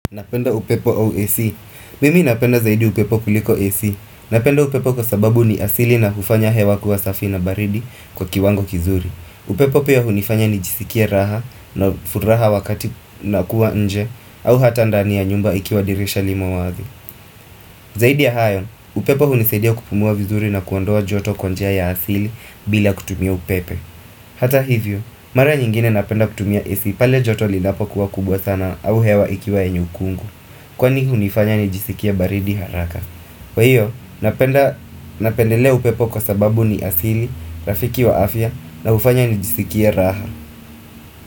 Napenda upepo au AC mimi napenda zaidi upepo kuliko AC Napenda upepo kwa sababu ni asili na hufanya hewa kuwa safi na baridi kwa kiwango kizuri upepo pia hunifanya ni jisikia raha na furaha wakati na kuwa nje au hata ndani ya nyumba ikiwa dirisha limo wazi Zaidi ya hayo, upepo hunisadia kupumuwa vizuri na kuondoa joto kwa njia ya asili bila kutumia upepe Hata hivyo, mara nyingine napenda kutumia AC pale joto linapo kuwa kubwa sana au hewa ikiwa enye ukungu Kwani hunifanya nijisikia baridi haraka kwa hiyo napendelea upepo kwa sababu ni asili Rafiki wa afya na hufanya nijisikia raha.